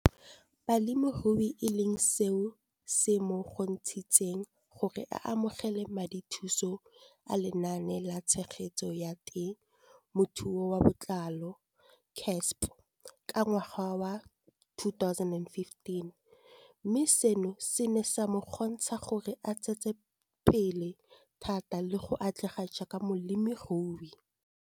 Balemirui e leng seo se mo kgontshitseng gore a amogele madithuso a Lenaane la Tshegetso ya Te mothuo ka Botlalo, CASP] ka ngwaga wa 2015, mme seno se ne sa mo kgontsha gore a tsetsepele thata le go atlega jaaka molemirui.